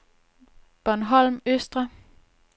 Bornholm Østre